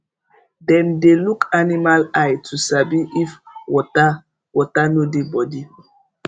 dem dey look animal eye to sabi if water water no dey body